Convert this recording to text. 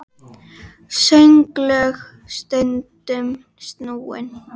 Sönglög stundum snúin.